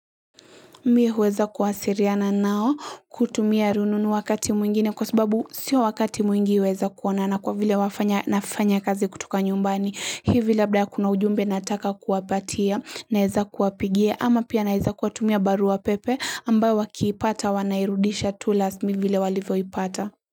Mie huweza kuwasiliana nao kutumia rununu wakati mwingine kwa sababu sio wakati mwingi huweza kuona na kwa vile wafanya nafanya kazi kutuka nyumbani hivi labda ya kuna ujumbe nataka kuwapatia naweza kuwapigie ama pia naweza kuwatumia barua pepe ambayo wakiipata wanairudisha tu kama vile walivyoipata.